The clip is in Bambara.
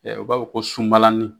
U b'a fɔ ko sunbalanin.